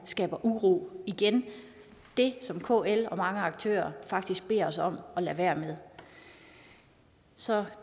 skabe uro igen det som kl og mange aktører faktisk beder os om at lade være med så